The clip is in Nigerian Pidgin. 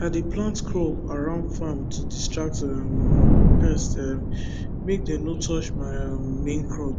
i dey plant crop around farm to distract um pest um make dem no touch my um main crop